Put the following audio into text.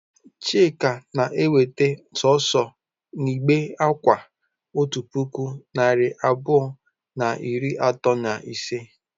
Chika na-eweta sọọsọ igbe akwa otu puku na narị abụọ na iri atọ na ise?